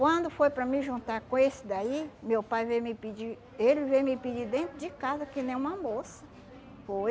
Quando foi para me juntar com esse daí, meu pai veio me pedir, ele veio me pedir dentro de casa, que nem uma moça. Foi.